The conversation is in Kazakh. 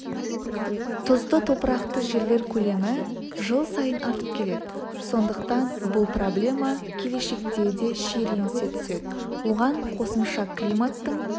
тұзды топырақты жерлер көлемі жыл сайын артып келеді сондықтан бұл проблема келешекте де шиеленісе түседі оған қосымша климаттың